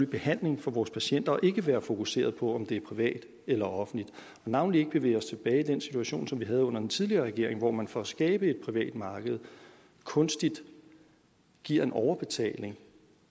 behandling for vores patienter og ikke være så fokuseret på om det er privat eller offentligt og navnlig ikke bevæge os tilbage i den situation som vi havde under den tidligere regering hvor man for at skabe et privat marked kunstigt giver en overbetaling